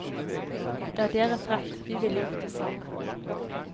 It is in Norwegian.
Det er deres rett, vi ville gjort det samme.